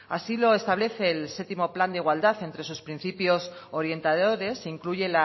así lo establece el séptimo plan de igualdad entre sus principios orientadores incluye